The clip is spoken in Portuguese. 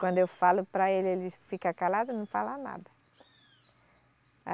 Quando eu falo para ele, ele fica calado e não fala nada.